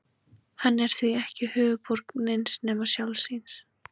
Hann er því ekki höfuðborg neins nema sjálfs sín.